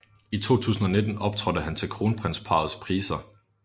I 2019 optrådte han til Kronprinsparrets Priser